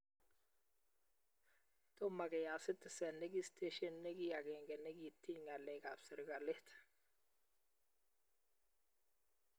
Tomo keyat Citizen ne ki stesyenit ne ki agenge ne kitiny ng'alek ab serkalit